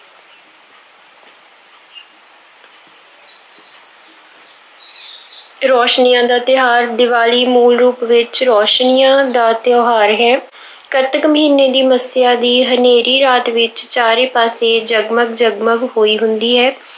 ਰੌਸ਼ਨੀਆਂ ਦਾ ਤਿਉਹਾਰ, ਦੀਵਾਲੀ ਮੂਲ ਰੂਪ ਵਿੱਚ, ਰੌਸ਼ਨੀਆਂ ਦਾ ਤਿਉਹਾਰ ਹੈ। ਕੱਤਕ ਮਹੀਨੇ ਦੀ ਮੱਸਿਆ ਦੀ ਹਨੇਰੀ ਰਾਤ ਵਿੱਚ ਚਾਰੇ ਪਾਸੇ ਜਗ-ਮਗ, ਜਗ-ਮਗ ਹੋਈ ਹੁੰਦੀ ਹੈ।